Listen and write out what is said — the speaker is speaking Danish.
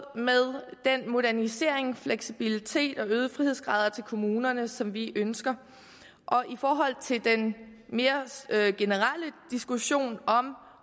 med den modernisering fleksibilitet og de øgede frihedsgrader til kommunerne som vi ønsker til den mere generelle diskussion om